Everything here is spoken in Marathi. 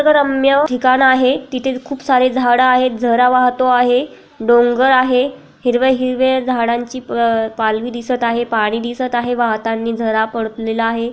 निसर्गरम्य ठिकाण आहे तिथे खूप सारे झाडं आहेत झरा वाहतो आहे. डोंगर आहे. हिरवे-हिरवे झाडांची प पालवी दिसत आहे. पाणी दिसत आहे वाहतानी झरा पडतलेला आहे.